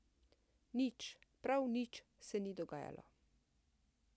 Nič, prav nič se ni dogajalo.